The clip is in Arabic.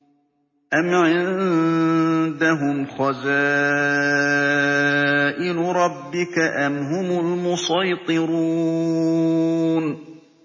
أَمْ عِندَهُمْ خَزَائِنُ رَبِّكَ أَمْ هُمُ الْمُصَيْطِرُونَ